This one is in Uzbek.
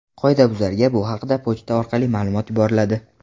Qoidabuzarga bu haqda pochta orqali ma’lumot yuboriladi.